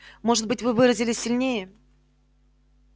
может быть вы выразились сильнее